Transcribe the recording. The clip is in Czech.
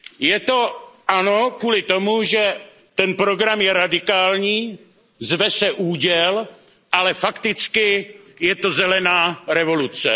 Je to ano kvůli tomu, že ten program je radikální, zve se Úděl, ale fakticky je to zelená revoluce.